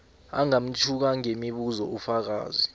angamtjhuka ngemibuzo ufakazi